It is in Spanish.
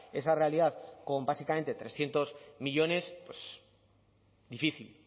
esa realidad con básicamente trescientos millónes difícil